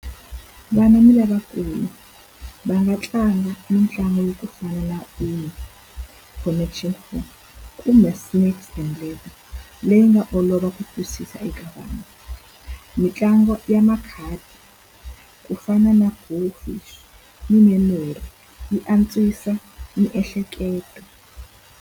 Vana ni lavakulu va nga tlanga mitlangu ya ku fana na connection kumbe snakes and ledder. Leyi nga olova ku twisisa eka vanhu. Mitlangu ya makhadi ku fana na na memory yi antswisa miehleketo.